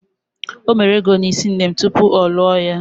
O mere ego n'isi nne m tupu ọ lụọ ya